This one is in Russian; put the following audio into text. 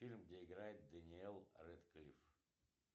фильм где играет дэниел рэдклифф